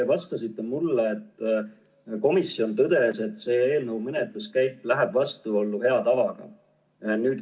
Te vastasite mulle, et komisjon tõdes, et selle eelnõu menetluskäik läheb vastuollu hea tavaga.